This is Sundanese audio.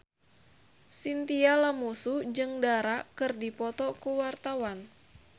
Chintya Lamusu jeung Dara keur dipoto ku wartawan